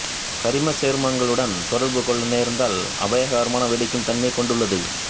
கரிமச்சேர்மங்களுடன் தொடர்பு கொள்ள நேர்ந்தால் அபாயகரமாக வெடிக்கும் தன்மை கொண்டுள்ளது